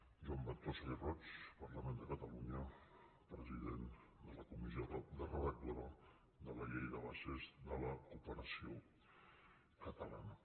joan ventosa i roig parlament de catalunya president de la comissió redactora de la llei de bases de la cooperació catalana